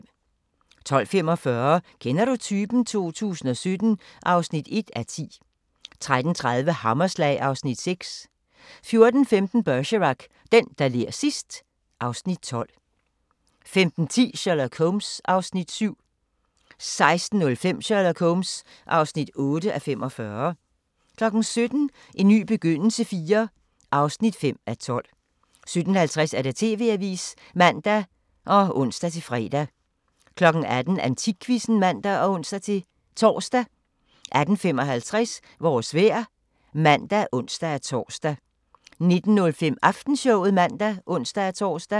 12:45: Kender du typen? 2017 (1:10) 13:30: Hammerslag (Afs. 6) 14:15: Bergerac: Den, der ler sidst ... (Afs. 12) 15:10: Sherlock Holmes (7:45) 16:05: Sherlock Holmes (8:45) 17:00: En ny begyndelse IV (5:12) 17:50: TV-avisen (man og ons-fre) 18:00: Antikquizzen (man og ons-tor) 18:55: Vores vejr (man og ons-tor) 19:05: Aftenshowet (man og ons-tor)